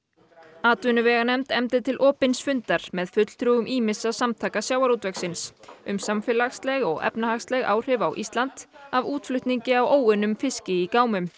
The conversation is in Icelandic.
atvinnuveganefnd efndi til opins fundar með fulltrúum ýmissa samtaka sjávarútvegsins um samfélagsleg og efnahagsleg áhrif á Íslandi af útflutningi á óunnum fiski í gámum